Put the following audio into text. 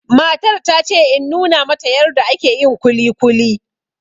Matar ta ce in nuna mata yarda ake yin kuli kuli